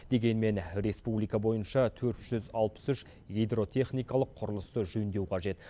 дегенмен республика бойынша төрт жүз алпыс үш гидротехникалық құрылысты жөндеу қажет